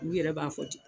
U yɛrɛ b'a fɔ ten